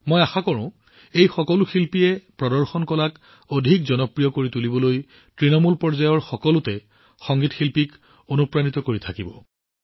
মই আশা কৰোঁ যে এই সকলো শিল্পীয়ে প্ৰদৰ্শন কলাক অধিক জনপ্ৰিয় কৰাৰ দিশত তৃণমূল পৰ্যায়ৰ সকলোকে অনুপ্ৰাণিত কৰি থাকিব